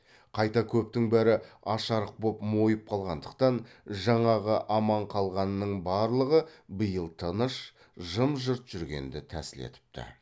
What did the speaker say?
қайта көптің бәрі аш арық боп мойып қалғандықтан жаңағы аман қалғанның барлығы биыл тыныш жым жырт жүргенді тәсіл етіпті